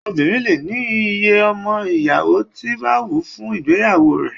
Obinrin lè ní iye ọmọ ìyàwó tí bá wù ú fún ìgbéyàwó rẹ̀